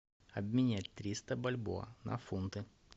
обменять триста бальбоа на фунты